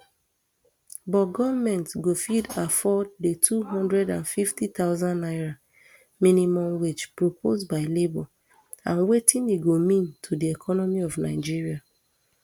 but goment go fit afford di two hundred and fifty thousand naira minimum wage proposed by labour and wetin e go mean to di economy of nigeria